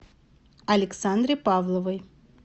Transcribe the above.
александре павловой